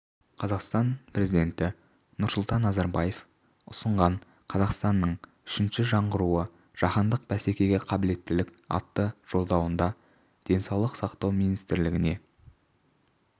қазақстан президенті нұрсұлтан назарбаев ұсынған қазақстанның үшінші жаңғыруы жаһандық бәсекеге қабілеттілік атты жолдауында денсаулық сақтау министрлігіне